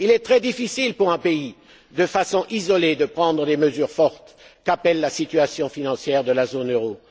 Il est très difficile pour un pays de prendre, de façon isolée, les mesures fortes qu'appelle la situation financière de la zone